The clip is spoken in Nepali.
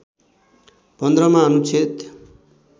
१५ मा अनुच्छेद